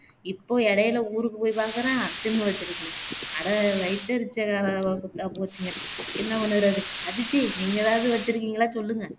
இப்போ இடையிலே ஊருக்கு போய் பாக்குறேன் திண்ணு வச்சுருக்குங்க அட வயித்தெரிச்சல் போச்சுங்க என்ன பண்ணுறது அதித்தி நீங்க எதாவது வச்சுருக்கீங்களா சொல்லுங்க